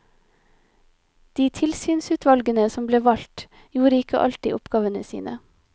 De tilsynsutvalgene som ble valgt, gjorde ikke alltid oppgavene sine.